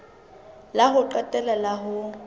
la ho qetela la ho